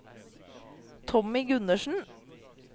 Tommy Gundersen